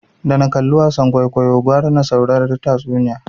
Da na kalli wasan kwaikwayo gwara na saurari tatsuniya